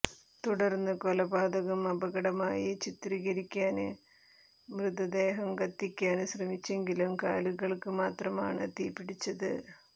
തുടര്ന്ന് കൊലപാതകം അപകടമായി ചിത്രീകരിക്കാന് മൃതദേഹം കത്തിക്കാന് ശ്രമിച്ചെങ്കിലും കാലുകള്ക്ക് മാത്രമാണ് തീപിടിച്ചത്